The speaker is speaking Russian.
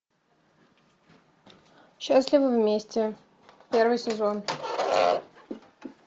счастливы вместе первый сезон